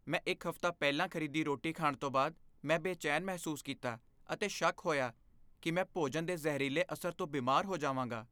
ਮੈਂ ਇੱਕ ਹਫ਼ਤਾ ਪਹਿਲਾਂ ਖ਼ਰੀਦੀ ਰੋਟੀ ਖਾਣ ਤੋਂ ਬਾਅਦ, ਮੈਂ ਬੇਚੈਨ ਮਹਿਸੂਸ ਕੀਤਾ ਅਤੇ ਸ਼ੱਕ ਹੋਇਆ ਕਿ ਮੈਂ ਭੋਜਨ ਦੇ ਜ਼ਹਿਰੀਲੇ ਅਸਰ ਤੋਂ ਬਿਮਾਰ ਹੋ ਜਾਵਾਂਗਾ।